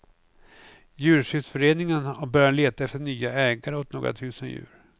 Djurskyddsföreningen har börjat leta efter nya ägare åt några tusen djur.